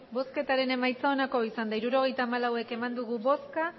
hirurogeita hamalau eman dugu bozka